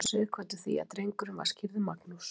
Réð svo Sighvatur því að drengurinn var skírður Magnús.